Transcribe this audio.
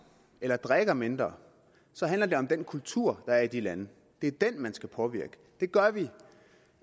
eller drikker mindre handler det om den kultur der er i de lande det er den man skal påvirke det gør vi